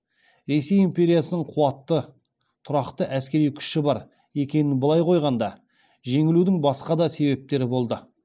ресей империясының қуатты тұрақты әскери күші бар екенін былай қойғанда жеңілудің басқа да себептері болды